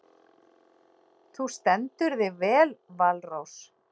Þú stendur þig vel, Valrós!